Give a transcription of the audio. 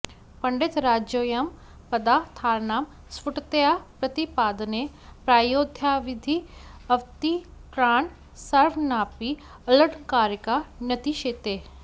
पण्डितराजोऽयं पदा र्थानां स्फुटतया प्रतिपादने प्रायोऽद्यावधि अवतीर्णान् सर्वानपि अलङ्कारिका नतिशेते